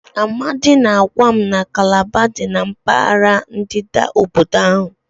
Amadi na-agwa m na Calabar dị na mpaghara ndịda obodo ahụ.